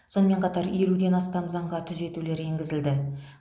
сонымен қатар елуден астам заңға түзетулер енгізілді